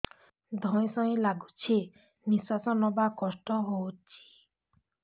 ଧଇଁ ସଇଁ ଲାଗୁଛି ନିଃଶ୍ୱାସ ନବା କଷ୍ଟ ହଉଚି